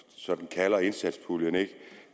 sådan kalder indsatspuljen at